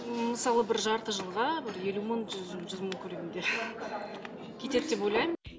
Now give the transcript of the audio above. ммм мысалы бір жарты жылға елу мың жүз мың жүз мың көлемінде кетеді деп ойлаймын